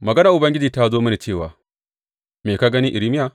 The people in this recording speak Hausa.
Maganar Ubangiji ta zo mini cewa, Me ka gani, Irmiya?